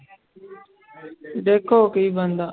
ਦੇਖੋ ਕੀ ਬਣਦਾ।